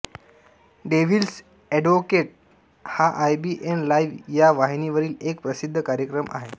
devil's advocate हा I B N live या वाहिनीवरील एक प्रसिद्ध कार्यक्रम आहे